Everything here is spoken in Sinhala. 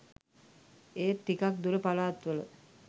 ඒත් ටිකක් දුර පලාත්වල